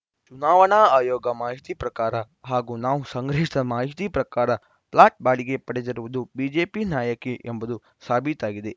ಚುನಾವಣಾ ಆಯೋಗದ ಮಾಹಿತಿ ಪ್ರಕಾರ ಹಾಗೂ ನಾವು ಸಂಗ್ರಹಿಸಿದ ಮಾಹಿತಿ ಪ್ರಕಾರ ಫ್ಲಾಟ್‌ ಬಾಡಿಗೆ ಪಡೆದಿರುವುದು ಬಿಜೆಪಿಯ ನಾಯಕಿ ಎಂಬುದು ಸಾಬೀತಾಗಿದೆ